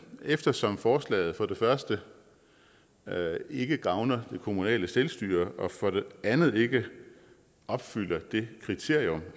eftersom forslaget for det første ikke gavner det kommunale selvstyre og for det andet ikke opfylder det kriterium